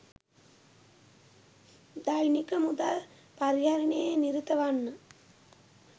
දෛනික මුදල් පරිහරණයේ නිරත වන්න